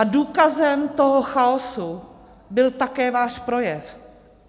A důkazem toho chaosu byl také váš projev.